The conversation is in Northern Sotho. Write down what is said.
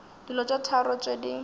dilo tše tharo tše di